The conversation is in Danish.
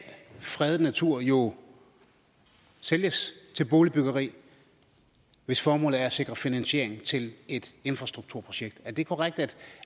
fredet natur jo sælges til boligbyggeri hvis formålet er at sikre finansiering til et infrastrukturprojekt er det korrekt